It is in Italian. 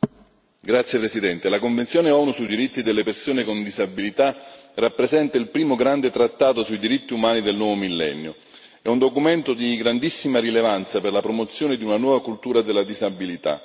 Signor Presidente, onorevoli colleghi, la Convenzione ONU sui diritti delle persone con disabilità rappresenta il primo grande trattato sui diritti umani del nuovo millennio. È un documento di grandissima rilevanza per la promozione di una nuova cultura della disabilità